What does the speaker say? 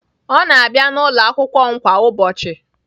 Ọ na-abịa n'ụlọ akwụkwọ m kwa ụbọchị